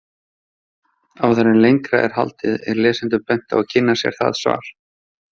Áður en lengra er haldið er lesendum bent á að kynna sér það svar.